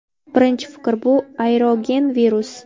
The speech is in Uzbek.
Birinchi fikr bu – aerogen virus.